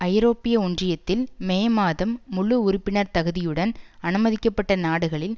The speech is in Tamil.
ஐரோப்பிய ஒன்றியத்தில் மே மாதம் முழு உறுப்பினர் தகுதியுடன் அனுமதிக்கப்பட்ட நாடுகளில்